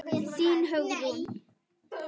Þín Hugrún.